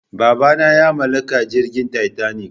babana ya mallaka jirgin titanic